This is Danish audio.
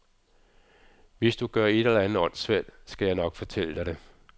Hvis du gør et eller andet åndssvagt, skal jeg nok fortælle dig det.